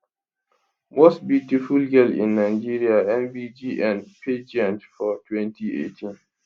most beautiful girl in nigeria mbgn pageant for 2018